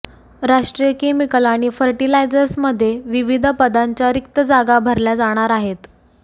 राष्ट्रीय केमिकल आणि फर्टिलायझर्समध्ये विविध पदांच्या रिक्त जागा भरल्या जाणार आहेत